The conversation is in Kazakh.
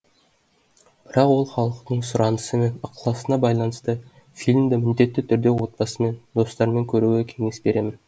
бірақ ол халықтың сұранысы мен ықыласына байланысты фильмді міндетті түрде отбасымен достармен көруге кеңес беремін